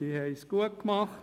Sie haben es gut gemacht.